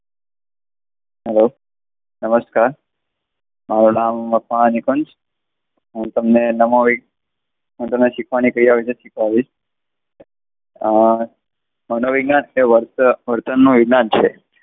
hello. નમસ્કાર, મારું નામ મકવાણા નિકુંજ. હું તમને નામોવી, હું તમને શીખવાની ક્રિયા વિષે શીખવાડીશ. અમ મનોવિજ્ઞાન એ વર્તનનું વિજ્ઞાન છે.